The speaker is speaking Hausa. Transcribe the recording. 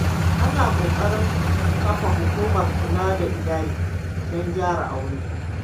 Ana ƙoƙarin kafa hukumar kula da iyali, don gyara Aure.